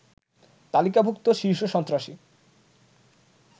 তালিকাভুক্ত শীর্ষ সন্ত্রাসী